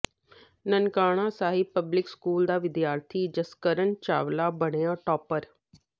Nankana Sahib public school ਦਾ ਵਿਦਿਆਰਥੀ ਜਸਕਰਨ ਚਾਵਲਾ ਬਣਿਆ ਟਾਪਰ